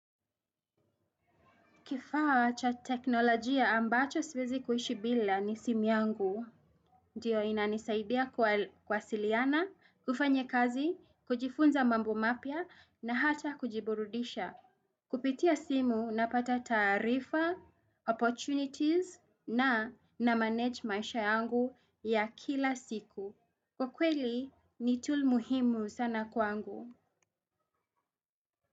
Kifaa cha teknolojia ambacho siwezi kuishi bila, ni simu yangu. Ndio inanisaidia kuwasiliana, kufanya kazi, kujifunza mambo mapya, na hata kujiburudisha. Kupitia simu, napata taarifa, opportunities na na manage maisha yangu ya kila siku. Kwa kweli, ni tool muhimu sana kwangu.